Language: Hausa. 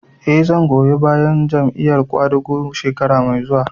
Eh, zan goyi bayan Jam'iyar ƙwadago shekara mai zuwa